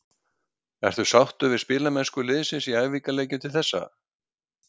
Ertu sáttur við spilamennsku liðsins í æfingaleikjum til þessa?